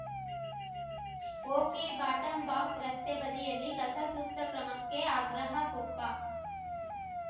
ಒಕೆಬಾಟಂಬಾಕ್ಸರಸ್ತೆ ಬದಿಯಲ್ಲಿ ಕಸ ಸೂಕ್ತ ಕ್ರಮಕ್ಕೆ ಆಗ್ರಹ ಕೊಪ್ಪ